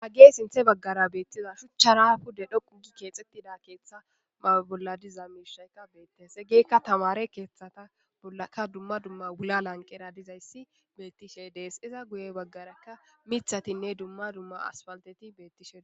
Hagey sinthe baggara beettiza shuchchara hude dhoqugi keexettida keeththa mawe bolla diza miishaykka beettes egeekka tamare keeththata aka dumma dumma wula lanqera dizayssi beettishe dees iza guye baggarakka mithatinne dumma dumma asfalteti bettishee.